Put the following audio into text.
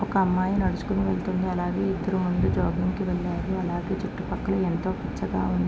ఒక అమ్మాయి నడుచుకొని వెళ్తుంది అలాగే ఇద్దరూ ముందు జాగింగ్ కి వెళ్ళారు అలాగే చుట్టూ పక్కల ఎంతో పచ్చగా ఉం --